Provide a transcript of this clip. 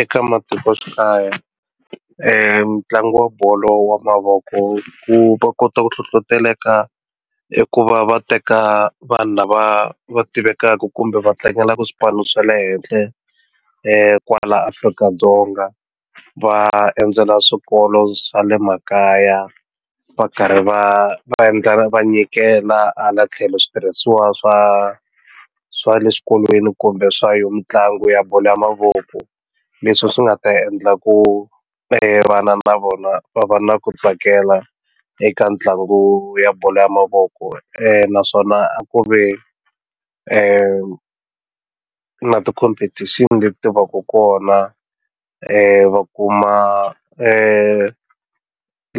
Eka matikoxikaya ntlangu wa bolo wa mavoko ku va kota ku hlohloteleka i ku va va teka vanhu lava va tivekaka kumbe va tlangelaku swipano swa le henhla kwala Afrika-Dzonga va endzela swikolo swa le makaya va karhi va va endla va nyikela hala tlhelo switirhisiwa swa swa le xikolweni kumbe swa yo mitlangu ya bolo ya mavoko leswi swi nga ta endla ku vana na vona va va na ku tsakela eka mitlangu ya bolo ya mavoko naswona a ku ve na ti-competition-i leti ti va ka kona va kuma